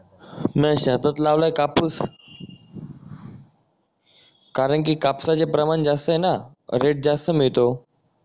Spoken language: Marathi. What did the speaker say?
नाय शेतात लावलय कापूस कारण की कापसाचे प्रमाण जास्त आहे ना रेट जास्त मिळतो